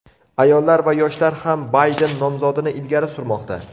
Ayollar va yoshlar ham Bayden nomzodini ilgari surmoqda.